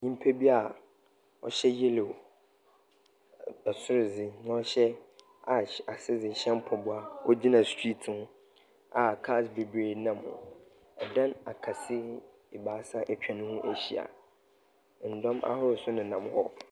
Nipa a ɔhyɛ yellow ɛsoro dze na ɔhyɛ ash ase dze hyɛ mpaboa ɔgyina street mu a cars bebiree nam hɔ. ℇdan akɛse ebaasa atwa ne ho ahyia. Ndɔm ahorow nso nenam hɔ.